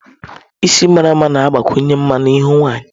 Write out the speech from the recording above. Isi mara mma na-agbakwunye mma na ihu nwanyị.